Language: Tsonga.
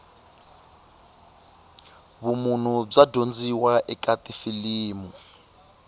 vumunhu bya dyondziwa eka tifilimu